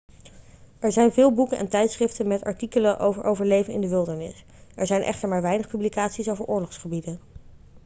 er zijn veel boeken en tijdschriften met artikelen over overleven in de wildernis er zijn echter maar weinig publicaties over oorlogsgebieden